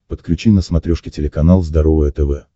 подключи на смотрешке телеканал здоровое тв